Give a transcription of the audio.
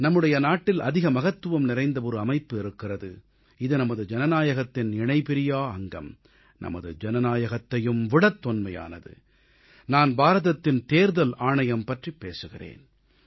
நம்முடைய நாட்டில் அதிக மகத்துவம் நிறைந்த ஒரு அமைப்பு இருக்கிறது இது நமது ஜனநாயகத்தின் இணைபிரியா அங்கம் நமது ஜனநாயகத்தையும் விடத் தொன்மையானது நான் பாரதத்தின் தேர்தல் ஆணையம் பற்றிப் பேசுகிறேன்